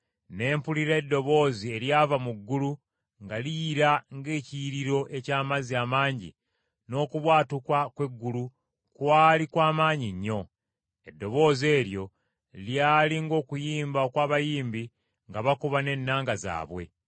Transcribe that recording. Ne mpulira eddoboozi eryava mu ggulu nga liyira ng’ekiyiriro eky’amazzi amangi n’okubwatuka kw’eggulu kwali kw’amaanyi nnyo. Eddoboozi eryo lyali ng’okuyimba okw’abayimbi nga bakuba n’ennanga zaabwe.